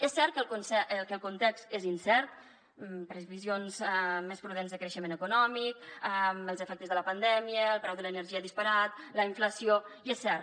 és cert que el context és incert previsions més prudents de creixement econòmic els efectes de la pandèmia el preu de l’energia disparat la inflació i és cert